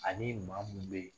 Ani maa mun bɛ ye